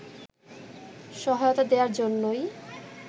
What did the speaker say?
সহায়তা দেয়ার জন্যই